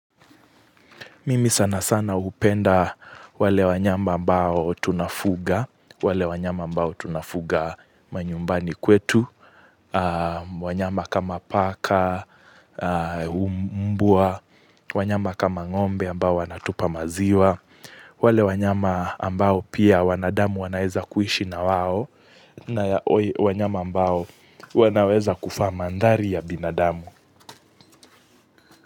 Mimi sana sana upenda. Wale wanyama ambao tunafuga, wale wanyama ambao tunafuga manyumbani kwetu, wanyama kama paka, mbwa, wanyama kama ngombe ambao wanatupa maziwa, wale wanyama ambao pia wanadamu wanaweza kuishi na wao, wanyama ambao wanaweza kufa mandari ya binadamu.